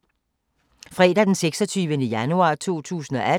Fredag d. 26. januar 2018